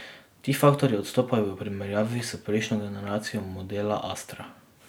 Ti faktorji odstopajo v primerjavi s prejšnjo generacijo modela astra.